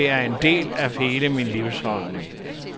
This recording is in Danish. Det er en del af hele min livsholdning.